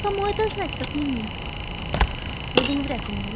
кому это знать как не мне